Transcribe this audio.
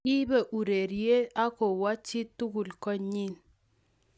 kibe urerie ak kowok chii tugul konyii